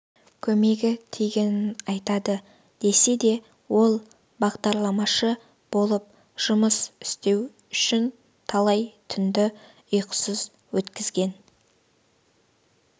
көмегі тигенін айтады десе де ол бағдарламашы болып жұмыс істеу үшін талай түнді ұйқысыз өткізген